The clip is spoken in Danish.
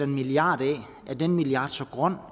milliard af er den millard så grøn